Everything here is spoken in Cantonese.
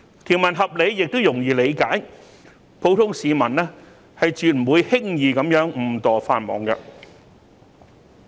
條文合理亦容易理解，普通市民絕不會輕易誤墮法網。